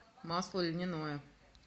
масло льняное